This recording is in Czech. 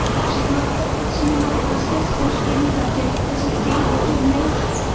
Všechna tato opatření mají prostě zpoždění za těmi, kteří chtějí děti zneužívat.